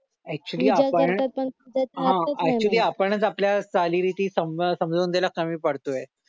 actually आपण हा actually आपणच आपल्या चालीरीती समजावून द्यायला कमी पडतोय